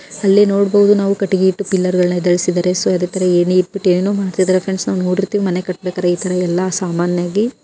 ಅಲ್ಲೇ ನಾವು ನೋಡಬಹುದು ಕಟ್ಟಿಗೆ ಇತ್ತು ಪಿಲ್ಲರ್ ಗಳನ್ನ ಎದ್ದೇಳಿಸಿದ್ದಾರೆ ಸೊ ಏಣಿ ಇಟ್ ಬಿಟ್ಟು ಏನೇನೊ ಮಾಡ್ತಿದ್ದಾರೆ ಫ್ರೆಂಡ್ಸ್ ನಾವು ನೋಡಿರ್ತೀವಿ ಮನೆ ಕಟ್ಟಬೇಕಾರೆ ಈ ತರಹ ಎಲ್ಲ ಸಾಮಾನ್ಯ ಆಗಿ--